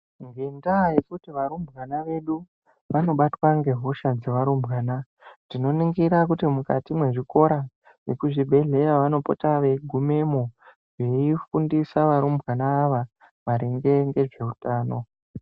Ngenda yekuti varumbwana vedu vanobatwa ngehosha dzevarumbwana ,dzinoningira mukati mezvikora vekuzvingwehleya vanopota veigumemo, vachifundisa varumbwana ava ngezvehutano.